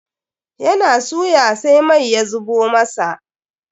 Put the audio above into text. Ya na suya sai mai ya zuɓe masa.